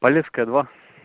полесская два